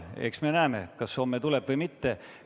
Eks me näeme, kas ta homme tuleb või mitte.